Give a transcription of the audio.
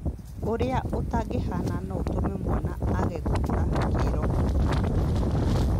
Ũrĩa ũtangĩhaana no ũtũme mwana age gũkũra kĩĩroho